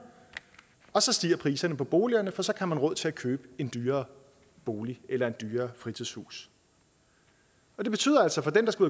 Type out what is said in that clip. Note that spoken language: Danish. og så stiger priserne på boligerne for så har man råd til at købe en dyrere bolig eller et dyrere fritidshus det betyder altså for dem der skal